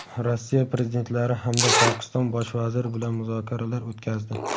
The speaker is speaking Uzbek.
Rossiya prezidentlari hamda Pokiston bosh vaziri bilan muzokaralar o‘tkazdi;.